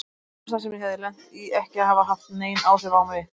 Mér fannst það sem ég hafði lent í ekki hafa haft nein áhrif á mig.